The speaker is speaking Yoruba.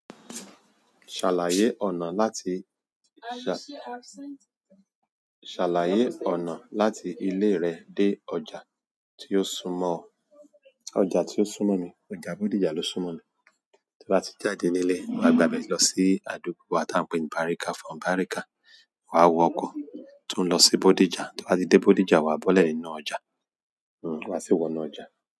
Ṣàlàyé ọ̀nà láti ilé rẹ dé ọjà tí ó súmọ̀ ọ. Ọjà tí ó súmọ̀ mi, ọjà Bódìjà ló súmọ̀ mi. Tí wà tí jáde nílé, wà gbà bèrè lọ sí àdúgbò wà tí wọ́n ń pe ní Bariga, from Bariga wà wọ ọkọ̀ tó ń lọ sí Bódìjà, tí wà tí dé Bódìjà wà bọ́lẹ̀ inú ọjà, hm, wà sí wọ̀nú ọjà.